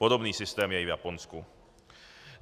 Podobný systém je i v Japonsku.